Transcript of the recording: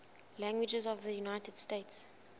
languages of the united states